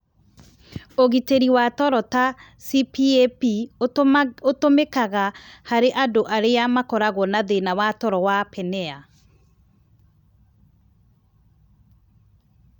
Ũrigiti wa toro ta CPAP ũtũmĩkaga harĩ andũ arĩa makoragwo na thĩna wa toro wa apnea.